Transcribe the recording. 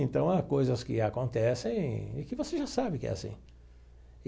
Então, há coisas que acontecem e que você já sabe que é assim.